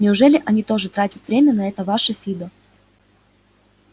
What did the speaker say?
неужели они тоже тратят время на это ваше фидо